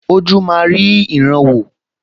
Ojú máa rí ìran wò